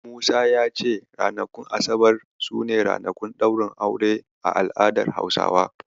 Musa ya ce ranakun asabar su ne ranakun ɗaurin aure a al'adar Hausawa.